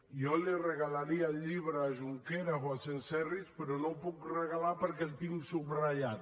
jo li regalaria el llibre a junqueras o a senserrich però no el puc regalar perquè el tinc subratllat